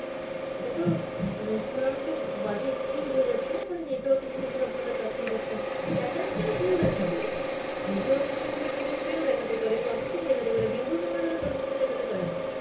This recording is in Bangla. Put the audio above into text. এটাত মানে চূড়ান্ত বাজে excuse হয়ে যাচ্ছে না খালি network issue র ওপর আপনারা চাপিয়ে দিচ্ছেন, status কেন ভুল দেখাবে, network issue হলে payment failed দেখাতে পারে processing দেখাতে পারে, দীর্ঘ সময় ধরে processing দেখাতে পারে না.